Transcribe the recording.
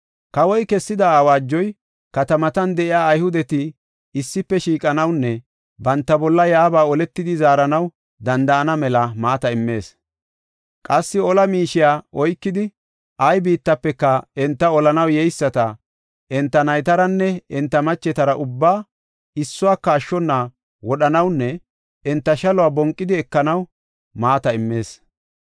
Kawoy kessida awaajoy, katamatan de7iya Ayhudeti issife shiiqanawunne banta bolla yaaba oletidi zaaranaw danda7ana mela maata immees. Qassi ola miishiya oykidi, ay biittafeka, enta olanaw yeyisata, enta naytaranne enta machetara ubbaa issuwaka ashshona wodhanawunne enta shaluwa bonqidi ekanaw maata immees.